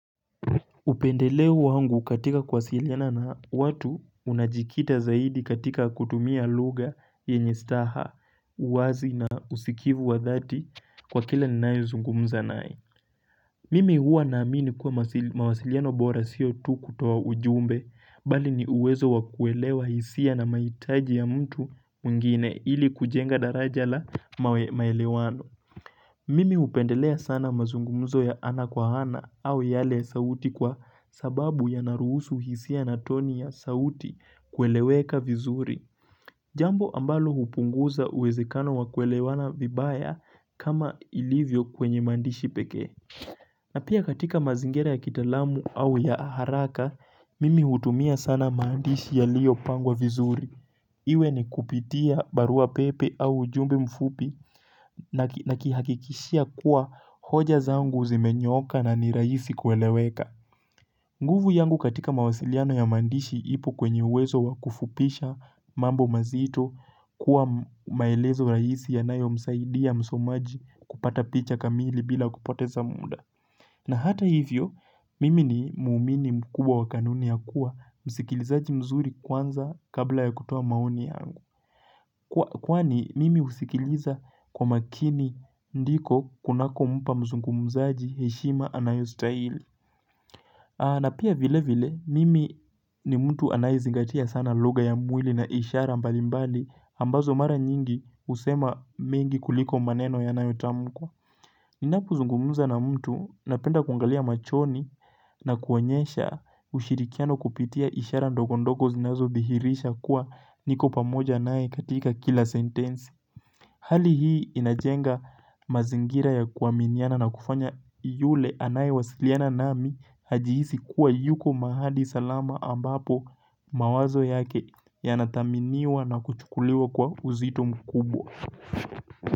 Upendeleo wangu katika kuwasiliana na watu unajikita zaidi katika kutumia lugha yenye staha uwazi na usikivu wa dhati kwa kila ninaye zungumza naye. Mimi huwa na amini kuwa masi mawasiliano bora siyo tu kutoa ujumbe bali ni uwezo wakuelewa hisia na mahitaji ya mtu mwingine ili kujenga daraja la mawe maelewano. Mimi hupendelea sana mazungumzo ya ana kwa ana au yale ya sauti kwa sababu yana ruhusu hisia na toni ya sauti kueleweka vizuri. Jambo ambalo hupunguza uwezekano wa kuelewana vibaya kama ilivyo kwenye maandishi pekee. Na pia katika mazingira ya kitaalamu au ya haraka, mimi hutumia sana mandishi yalio pangwa vizuri. Iwe ni kupitia barua pepe au ujumbe mfupi naki nakihakikishia kuwa hoja zangu zimenyooka na ni rahisi kueleweka. Nguvu yangu katika mawasiliano ya maandishi ipo kwenye uwezo wa kufupisha mambo mazito kuwa maelezo rahisi yanayo msaidia msomaji kupata picha kamili bila kupoteza muda. Na hata hivyo, mimi ni muumini mkubwa wakanuni ya kuwa, msikilizaji mzuri kwanza kabla ya kutoa maoni yangu Kwani mimi husikiliza kwa makini ndiko kunako mpa mzungumuzaji heshima anayostahili na pia vile vile, mimi ni mtu anayezingatia sana lugha ya mwili na inshara mbali mbali ambazo mara nyingi husema mengi kuliko maneno yanayotamukwa Ninapo zungumuza na mtu napenda kuangalia machoni na kuonyesha ushirikiano kupitia ishara ndogo ndogo zinazo dhihirisha kuwa niko pamoja naye katika kila sentensi Hali hii inajenga mazingira ya kuaminiana na kufanya yule anaye wasiliana nami hajihisi kuwa yuko mahali salama ambapo mawazo yake ya nadhaminiwa na kuchukuliwa kwa uzito mkubwa.